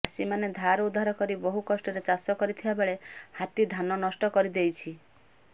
ଚାଷୀମାନେ ଧାର ଉଧାର କରି ବହୁ କଷ୍ଟରେ ଚାଷ କରିଥିବାବେଳେ ହାତୀ ଧାନ ନଷ୍ଟ କରିଦେଇଛି